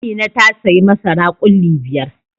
Amina ta sayi masara ƙulli biyar.